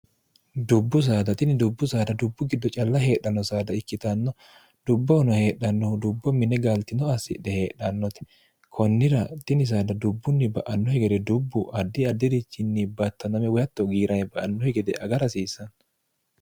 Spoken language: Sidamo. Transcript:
dubbu saadatini dubbu saada dubbu giddo calla heedhanno saada ikkitanno dubbohono heedhannohu dubbo mine gaaltino assidhe heedhannoti kunnira dini saada dubbunni ba annohi gede dubbu ardi addi'richinni battaname woyatto giirane ba annohi gede aga rasiisanno